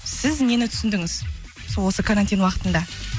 сіз нені түсіндіңіз сол осы карантин уақытында